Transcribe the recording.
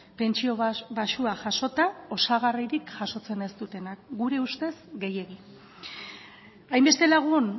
pentsio baxua jasota osagarririk jasotzen ez dutenak gure ustez gehiegi hainbeste lagun